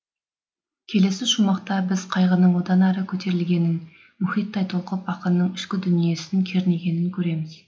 келесі шумақта біз қайғының одан ары көтерілгенін мұхиттай толқып ақынның ішкі дүниесін кернегенін көреміз